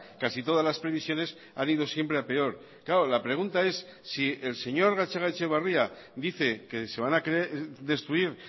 casi todas las previsiones han ido siempre a peor claro la pregunta es si el señor gatzagaetxebarria dice que se van a destruir